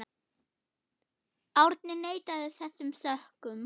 Árni neitaði þessum sökum.